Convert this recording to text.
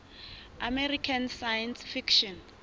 american science fiction